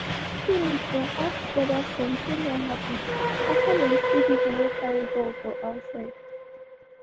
di pikins dey ask wether somtin don happen after dem see pipu wey carry gun for outside.